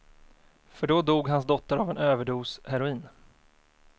För då dog hans dotter av en överdos heroin.